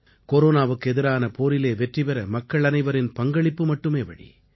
கொரோனாவுக்கு எதிரான போரிலே வெற்றி பெற மக்கள் அனைவரின் பங்களிப்பு மட்டுமே வழி